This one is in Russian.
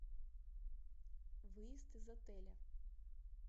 выезд из отеля